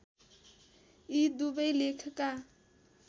यी दुवै लेखका